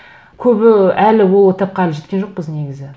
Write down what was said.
көбі әлі ол этапқа әлі жеткен жоқпыз негізі